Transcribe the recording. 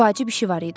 Vacib işi var idi.